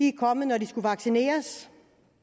er kommet når de skulle vaccineres